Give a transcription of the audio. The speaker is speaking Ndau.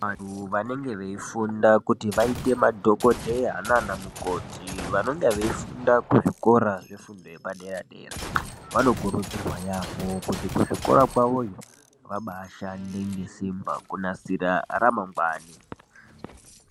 Vantu vanenge veifunda kuti vaite madhokodheya nana mukoti vanonga veifunda kuzvikora zvefundo yepadera dera vanokurudzirwa yaamho kuti kuzvikora kwawoyo vabaa shande ngesimba kunasira ramangwani .